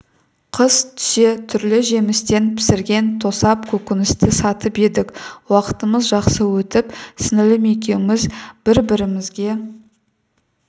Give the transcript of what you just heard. қыс түсе түрлі жемістен пісірген тосап көкөністі сатып едік уақытымыз жақсы өтіп сіңлім екеуміз бір-бірімізге